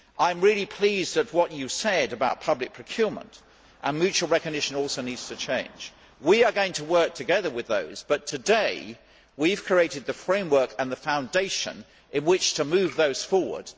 I am very pleased at what you said about public procurement, and mutual recognition also needs to change. We are going to work together on those, but today we have created the framework and the foundation in which to move those forward.